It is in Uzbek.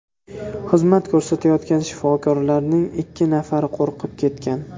Xizmat ko‘rsatayotgan shifokorlarning ikki nafari qo‘rqib ketgan.